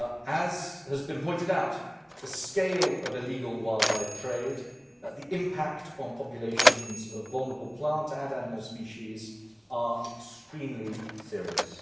As has been pointed out, the scale of illegal wildlife trade and the impact on populations of vulnerable plant and animal species are extremely serious.